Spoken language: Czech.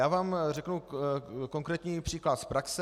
Já vám řeknu konkrétní příklad z praxe.